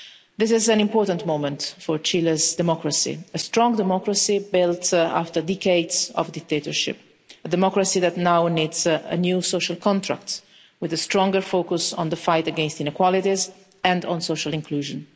This is an important moment for Chile's democracy, a strong democracy built after decades of dictatorship, a democracy that now needs a new social contract with a stronger focus on the fight against inequalities and on social inclusion.